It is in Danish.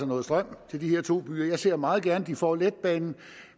noget strøm til de her to byer jeg ser meget gerne at de får letbanen